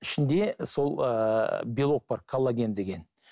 ішінде сол ыыы белок бар коллаген деген